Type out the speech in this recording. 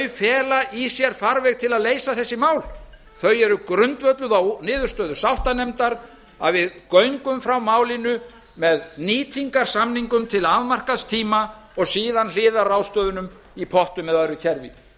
fela í sér farveg til að leysa þessi mál þau eru grundvölluð á niðurstöðu sáttanefndar að við göngum frá málinu með nýtingarsamningum til afmarkaðs tíma og síðan hliðarráðstöfunum í pottum eða öðru kerfi